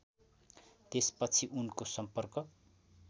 त्यसपछि उनको सम्पर्क